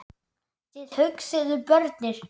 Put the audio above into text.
Þið hugsið um börnin.